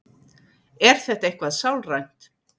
Er þetta eitthvað sálrænt?